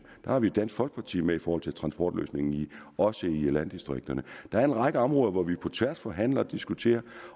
har vi dansk folkeparti med i forhold til transportløsningen også i landdistrikterne der er en række områder hvor vi på tværs forhandler og diskuterer